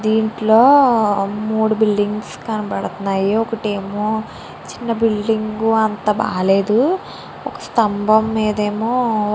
దింట్లో మూడు బిల్డింగ్స్ కనబడ్తున్నాయి ఒకటి ఏమో చిన్న బిల్డింగ్ అంత బాలేదు స్తంబం మేధ ఎమో --